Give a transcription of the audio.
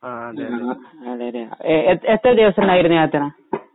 ആ അതെ അതെ